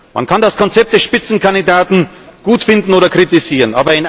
Man kann das Konzept der Spitzenkandidaten gut finden oder kritisieren.